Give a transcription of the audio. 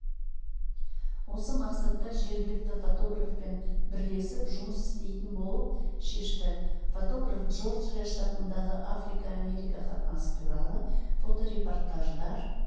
осы мақсатта жергілікті фотографпен бірлесіп жұмыс істейтін болып шешті фотограф джорджиа штатындағы африка-америка қатынасы туралы фоторепортаждар